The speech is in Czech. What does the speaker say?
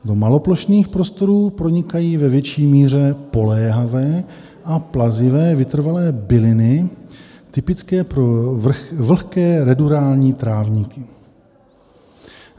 Do maloplošných porostů pronikají ve větší míře poléhavé a plazivé vytrvalé byliny typické pro vlhké ruderální trávníky.